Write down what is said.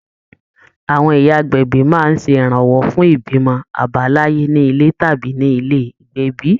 Àwọn ìyá agbẹ̀bí máa ń ṣe ìrànwọ́ fún ìbímọ àbáláyé ní ilé tàbí ní ilé ìgbẹ̀bí